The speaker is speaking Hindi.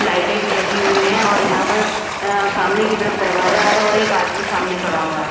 लाइटे भी लगी हुई है और यहां पर अ सामने की तरफ दरवाजा है और एक आदमी सामने खड़ा हुआ है।